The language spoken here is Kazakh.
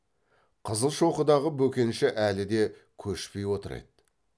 қызылшоқыдағы бөкенші әлі де көшпей отыр еді